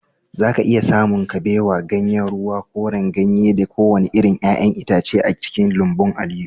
zaka iya samun kabewa, ganyen ruwa, koren ganye da kowane irin 'ya'yan itace a cikin lambun Aliyu